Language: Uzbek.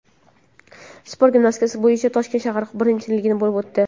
Sport gimnastikasi bo‘yicha Toshkent shahar birinchiligi bo‘lib o‘tdi.